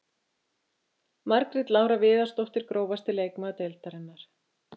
Margrét Lára Viðarsdóttir Grófasti leikmaður deildarinnar?